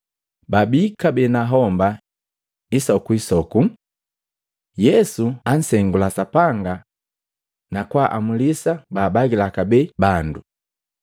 Babii kabee na homba isokuisoku. Yesu ansengula Sapanga, na kwaamulisa baabagila kabee bandu.